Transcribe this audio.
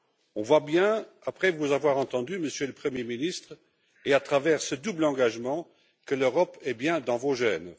On voit bien après vous avoir entendu, Monsieur le Premier ministre, et à travers ce double engagement, que l'Europe est bien dans vos gènes.